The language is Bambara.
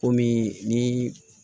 Kɔmi ni